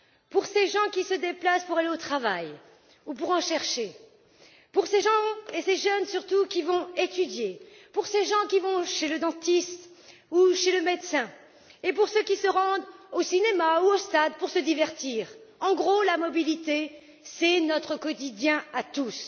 Pour ces gens qui se déplacent pour aller au travail ou pour en chercher, pour ces gens et ces jeunes surtout qui vont étudier, pour ces gens qui vont chez le dentiste ou chez le médecin, et pour ceux qui se rendent au cinéma ou au stade pour se divertir en gros, la mobilité, c'est notre quotidien à tous.